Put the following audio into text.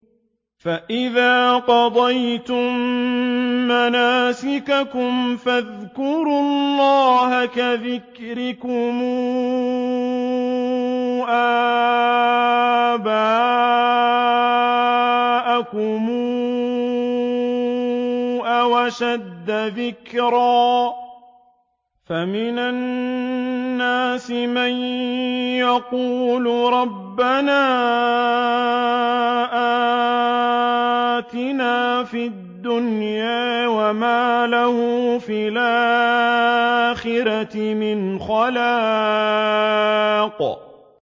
فَإِذَا قَضَيْتُم مَّنَاسِكَكُمْ فَاذْكُرُوا اللَّهَ كَذِكْرِكُمْ آبَاءَكُمْ أَوْ أَشَدَّ ذِكْرًا ۗ فَمِنَ النَّاسِ مَن يَقُولُ رَبَّنَا آتِنَا فِي الدُّنْيَا وَمَا لَهُ فِي الْآخِرَةِ مِنْ خَلَاقٍ